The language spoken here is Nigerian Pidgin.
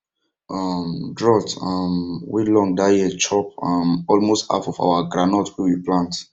um drought um wey long that year chop um almost half of our groundnut wey we plant